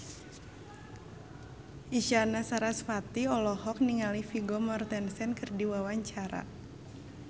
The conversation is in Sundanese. Isyana Sarasvati olohok ningali Vigo Mortensen keur diwawancara